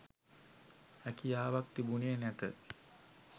හැකියාවක්‌ තිබුණේ නැත